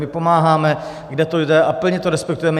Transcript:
My pomáháme, kde to jde, a plně to respektujeme.